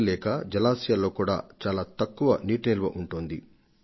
ఫలితంగా జలాశయాలు వాటి సామర్థ్యం కన్నా తక్కువగా మాత్రమే నీటిని నిల్వ ఉంచగలుగుతున్నాయి